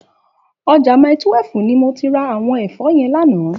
Òjá Màítúèf ni mó ti rá áwòn èfò yèn làná